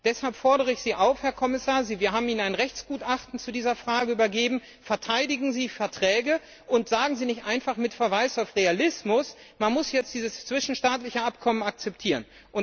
Deshalb fordere ich Sie, Herr Kommissar, auf wir haben Ihnen ein Rechtsgutachten zu dieser Frage übergeben Verteidigen Sie die Verträge und sagen Sie nicht einfach mit Verweis auf Realismus, man muss jetzt dieses zwischenstaatliche Abkommen akzeptieren!